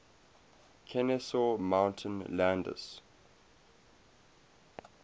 kenesaw mountain landis